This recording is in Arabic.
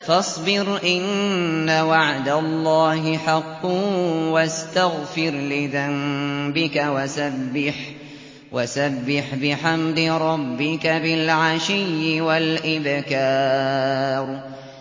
فَاصْبِرْ إِنَّ وَعْدَ اللَّهِ حَقٌّ وَاسْتَغْفِرْ لِذَنبِكَ وَسَبِّحْ بِحَمْدِ رَبِّكَ بِالْعَشِيِّ وَالْإِبْكَارِ